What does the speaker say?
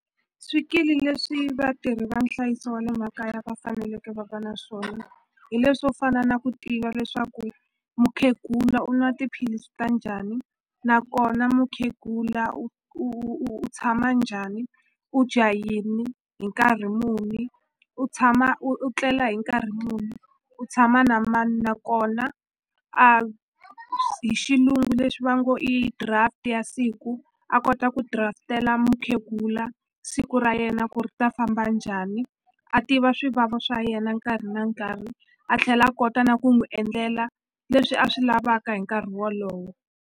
Swikili leswi vatirhi va nhlayiso wa le makaya va faneleke va va na swona hi le swo fana na ku tiva leswaku mukhegula u nwa tiphilisi ta njhani nakona mukhegula u u u tshama njhani u dya yini hi nkarhi muni u tshama u u tlela hi nkarhi muni u tshama na mani nakona a hi xilungu leswi va ngo i draft ya siku a kota ku draft-ela mukhegula siku ra yena ku ri ta famba njhani a tiva swivava swa yena nkarhi na nkarhi a tlhela a kota na ku n'wi endlela leswi a swi lavaka hi nkarhi wolowo.